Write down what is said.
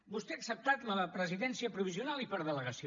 vostè ha acceptat la presidència provisional i per delegació